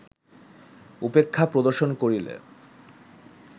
উপেক্ষা প্রদর্শন করিলে